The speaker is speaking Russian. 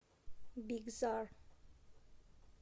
бигзар